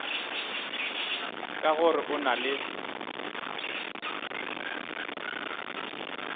ka gore o na le